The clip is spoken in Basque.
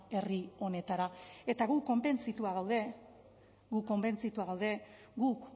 herri honetara eta gu konbentzitua gaude gu konbentzitua gaude guk